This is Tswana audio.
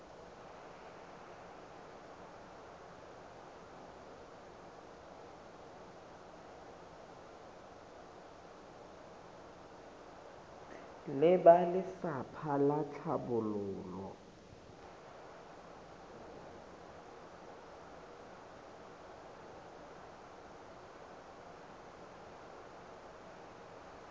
le ba lefapha la tlhabololo